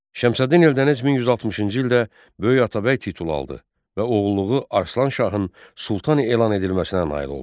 Şəmsəddin Eldəniz 1160-cı ildə böyük Atabəy titulu aldı və oğulluğu Arslan Şahın Sultan elan edilməsinə nail oldu.